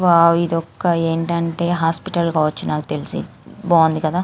Wow ఇది ఒక్క ఏంటి అంటే హాస్పిటల్ కావచ్చు నాకు తెలిసి బాగుంది కధ.